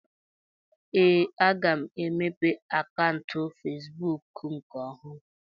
Ee, aga m emeghe akaụntụ Fesbụụk nke ọhụrụ